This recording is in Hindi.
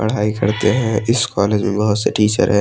पढ़ाई करते हैं इस कॉलेज मे बहोत से टीचर है।